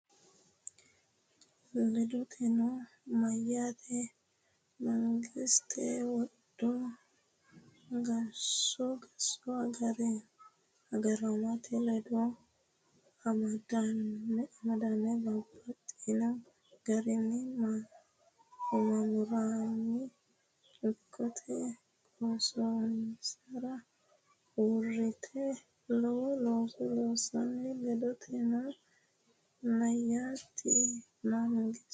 Ledotennino, meyaati mangistete wodho qoosso agaramate ledo amadame babbaxxino garinni maamarunni ikkite qoossonsara uurrite lowo looso loossino Ledotennino, meyaati mangistete.